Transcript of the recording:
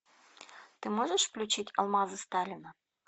ты можешь включить алмазы сталина